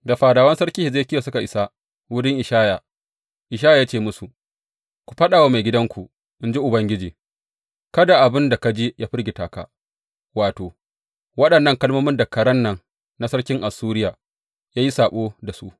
Da fadawan sarki Hezekiya suka isa wurin Ishaya, Ishaya ya ce musu, Ku faɗa wa maigidanku, in ji Ubangiji, Kada abin da ka ji yă firgita ka, wato, waɗannan kalmomin da karen nan na sarkin Assuriya ya yi saɓo da su.